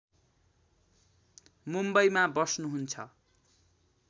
मुम्बईमा बस्नुहुन्छ